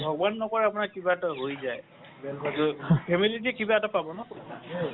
ভগৱান নকৰক কিবা এটা হয় যাই কিবা এটা পাব ন